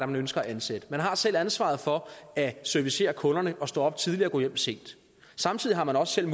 man ønsker at ansætte man har selv ansvaret for at servicere kunderne og stå op tidligt og gå hjem sent samtidig har man også selv